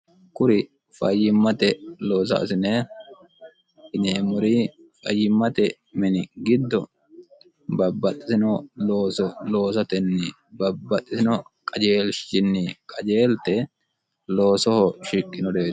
kuri fayyimmate loosaasine inyeemmuri fayyimmate mini giddo babbaxxitino looo loosotenni babbaxxisino qajeelshinni qajeelte loosoho shikqinodeeti